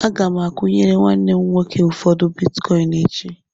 Aga m akwụnyere nwanne m nwoke ụfọdụ bitkọịn echi.